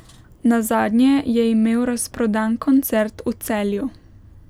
Nazadnje je imel razprodan koncert v Celju.